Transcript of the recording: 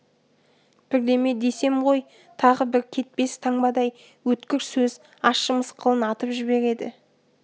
бірдеме десем ғой тағы бір кетпес таңбадай өткір сөз ащы мысқылын атып жібереді